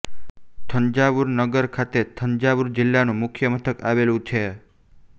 થંજાવુર નગર ખાતે થંજાવુર જિલ્લાનું મુખ્ય મથક આવેલું છે